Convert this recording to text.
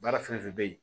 Baara fɛn fɛn bɛ yen